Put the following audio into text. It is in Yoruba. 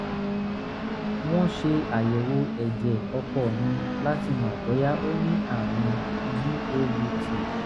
wọ́n ṣe àyẹ̀wò ẹ̀jẹ̀ ọkọ mi láti mọ̀ bóyá ó ní àrùn gout